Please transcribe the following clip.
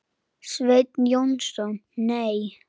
Sveinn Jónsson Nei.